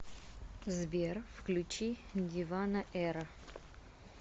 сбер включи дивано эра